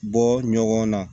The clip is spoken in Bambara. Bɔ ɲɔgɔn na